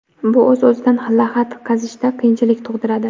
Bu o‘z-o‘zidan lahad qazishda qiyinchilik tug‘diradi.